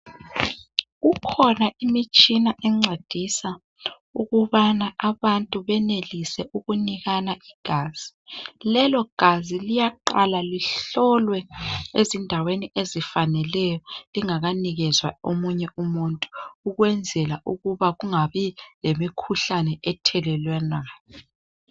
Kukhona imitshina encedisa ukubana abantu benelise ukunikana igazi lelogazi liyaqala lihlolwe ezindaweni esifaneleyo lingakanikezwa omunye umuntu ukwenzela ukuba kungabi lemikhuhlane ethelelwanayo.